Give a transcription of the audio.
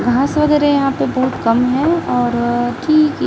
घास वगैरह यहां पे बहुत कम है और